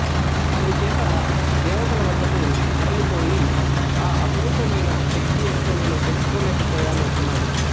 అందుచేత దేవతల వద్దకు మరలిపోయి ఆ అపురూపమయిన శక్తి ఏమిటో నేను తెలుసుకోలేకపోయాను అన్నాడు